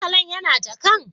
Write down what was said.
Murtalan yana jakan?